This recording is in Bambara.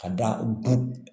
Ka da du